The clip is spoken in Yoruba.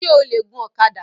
O le gun ọ̀kadà?